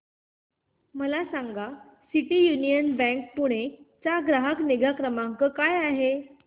मला सांगा City Union Bank Pune चा ग्राहक निगा क्रमांक काय आहे